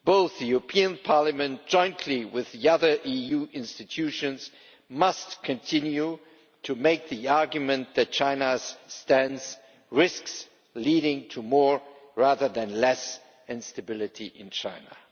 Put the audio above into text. The European Parliament, jointly with the other EU institutions, must continue to make the argument that China's stance risks leading to more, rather than less, instability in China.